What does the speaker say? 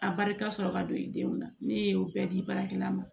A barika sɔrɔ ka don i denw na ne ye o bɛɛ di baarakɛla ma